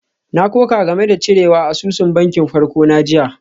Na koka game da cirewa asusun bankin farko na jiya.